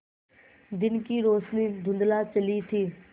दिन की रोशनी धुँधला चली थी